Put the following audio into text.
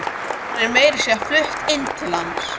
Hún er meira að segja flutt inn til hans.